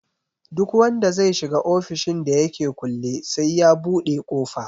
Duk wanda zai shiga ofishin da yake kulle sai ya buɗe ƙofa